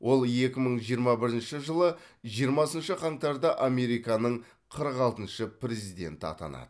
ол екі мың жиырма бірінші жылы жиырмасыншы қаңтарда американың қырық алтыншы президенті атанады